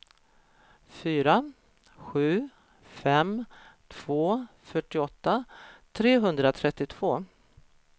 fyra sju fem två fyrtioåtta trehundratrettiotvå